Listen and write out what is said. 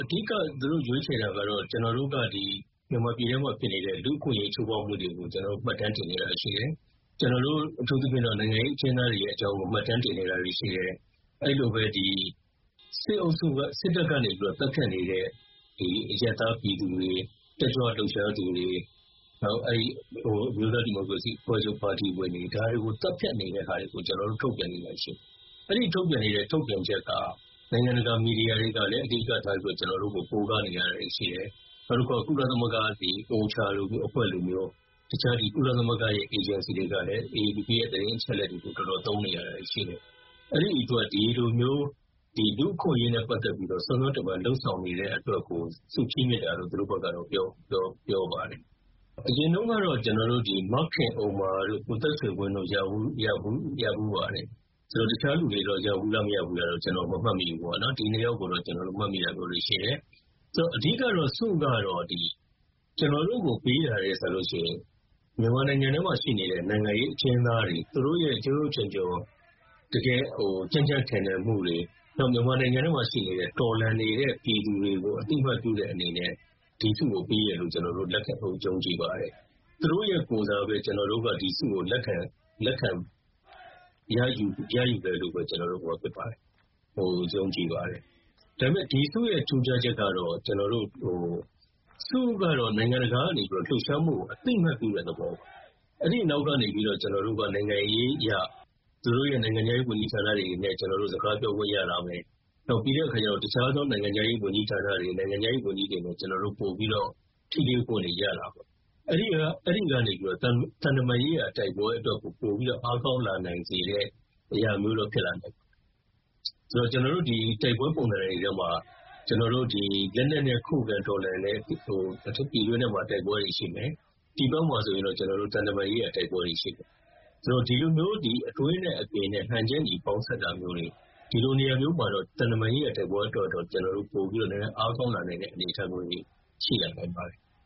အဓိက သူတို့ရွေးချယ်တာကတော့ ကျနော်တို့က မြန်မာပြည်ထဲမှာဖြစ်နေတဲ့လူ့အခွင့်အရေးချိုးဖောက်မှုတွေကို မှတ်တမ်းတင်ခဲ့တာရှိတယ်။ အထူးသဖြင့်တော့ နိုင်ငံရေးအကျဥ်းသားတွေရဲ့အကြောင်းကို မှတ်တမ်းတင်ခဲ့တာတွေ ရှိတယ်။ အဲဒီလိုပဲ စစ်တပ်ကနေ သတ်ဖြတ်နေတဲ့ အရပ်သားပြည်သူတွေ၊ တက်ကြွလှုပ်ရှားသူတွေ၊ နောက် အမျိုးသား ဒီမိုကရေစီအဖွဲ့ချုပ် ပါတီဝင်တွေ၊ ဒါတွေကို သတ်ဖြတ်နေတဲ့ဟာတွေကို ကျနော်တို့ထုတ်ပြန်နေတာရှိတယ်။ အဲဒီထုတ်ပြန်နေတဲ့ထုတ်ပြန်ချက်က နိုင်ငံတကာမီဒီယာတွေကလည်း အဓိကထားပြီးတော့ ကျနော်တို့ကို ကိုးကားနေရတာတွေ ရှိတယ်။ နောက်တခါ ကုလသမဂ္ဂ OCHA လိုမျိုးအဖွဲ့တွေ၊ တခြား ကုလသမဂ္ဂရဲ့အေဂျင်စီတွေကလည်း AAPPB ရဲ့သတင်းအချက်အလက်တွေကို တော်တော်သုံးနေရတာတွေရှိတယ်။ အဲဒီအတွက် ဒီလိုမျိုး လူ့အခွင့်အရေးနဲ့ပတ်သက်ပြီးတော့ စွမ်းစွမ်းတမံလုပ်ဆောင်နေတဲ့ အတွက်ကို ဆုချီးမြှင့်တာလို့ သူတို့ဘက်က ပြောပါတယ်။ အရင်တုန်းကတော့ မခင်ဥမ္မာတို့၊ ကိုသက်ဆွေဝင်းတို့ ရဖူးပါတယ်။ တခြားလူတွေ ရဖူးလား၊ မရဖူးဘူးလားဆိုတာကိုတော့ ကျနော် မမှတ်မိဘူးပေါ့နော်။ ဒီနှစ်ယောက်ကိုတော့ ကျနော်တို့ မှတ်မိတာမျိုးတွေ ရှိတယ်။ အဓိက ကတော့ ၊ ဒီဆုက ကျနော်တို့ကို ပေးတာထက်စာလို့ရှိရင် မြန်မာနိုင်ငံထဲမှာရှိနေတဲ့ နိုင်ငံရေးအကျဥ်းသားတွေ၊ သူတို့ရဲ့ထူးထူးချွန်ချွန်၊ တကယ် ကြံ့ကြံ့ခံနိုင်မှုတွေ၊ နောက် မြန်မာနိုင်ငံထဲမှာရှိနေတဲ့ တော်လှန်နေတဲ့ပြည်သူတွေကို အသိအမှတ်ပြုတဲ့အနေနဲ့ ဒီဆုကိုပေးတယ်လို့ ယုံကြည်ပါတယ်။ သူတို့ရဲ့ကိုယ်စားပဲ ကျနော်တို့က ဒီဆုကို လက်ခံရယူတယ်လို့ပဲကျနော်တို့ မှတ်ယူပါတယ်။ ယုံကြည်ပါတယ်။ ဒါပေမဲ့ ဒီဆုရဲ့ ထူးခြားချက်ကတော့ ဆုက နိုင်ငံတကာက လှုပ်ရှားမှုကို အသိအမှတ်ပြုတဲ့သဘောပါ။ အဲဒီနောက်ကနေပြီးတော့ ကျနော်တို့က နိုင်ငံရေးအရ သူတို့ရဲ့ နိုင်ငံခြားရေးဝန်ကြီးဌာနတွေနဲ့ ကျနော်တို့ စကားပြောခွင့်ရလာမယ်။ ပြီးတဲ့အခါကျတော့ တခြားသော နိုင်ငံခြားရေးဝန်ကြီးဌာနတွေ၊ နိုင်ငံခြားရေးဝန်ကြီးတွေနဲ့ ကျနော်တို့ ပိုပြီးတော့ ထိတွေ့ခွင့်တွေ ရတာပေါ့။ အဲဒီကနေပြီး သံတမန်ရေးရာတိုက်ပွဲအတွက်ကို ပိုပြီးတော့ အားကောင်းလာနိုင်စေတာမျိုးတော့ ဖြစ်လာနိုင်ပါတယ်။…ဆိုတော့ ကျနော်တို့ တိုက်ပွဲပုံစံတွေထဲမှာ လက်နက်နဲ့ ခုခံတော်လှန်တဲ့ ပြည်တွင်းထဲမှာ တိုက်ပွဲတွေရှိမယ်။ ပြည်ပမှာဆိုရင်တော့ သံတမန်ရေးရာတိုက်ပွဲတွေရှိမယ်။ ဆိုတော့ ဒီလိုမျိုး အတွင်းနဲ့အပြင်နဲ့ဟန်ချက်ညီ ပေါင်းစပ်တာမျိုးတွေ ဒီလိုနေရာမျိုးမှာတော့ သံတမန်ရေးရာတိုက်ပွဲအတွက်တော့ ပိုပြီးတော့ နည်းနည်းအားကောင်းလာနိုင်တဲ့အနေအထားမျိုးလေးတွေ ရှိလာနိုင်ပါတယ်။"